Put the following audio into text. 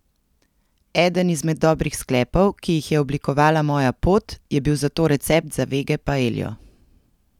Eden izmed dobrih sklepov, ki jih je oblikovala moja pot, je bil zato recept za vege paeljo.